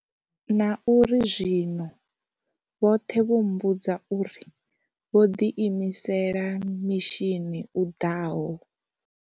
Na uri zwi-no, vhoṱhe vha mmbudza uri, vho ḓi imisela mishini u ḓaho.